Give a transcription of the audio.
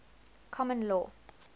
common law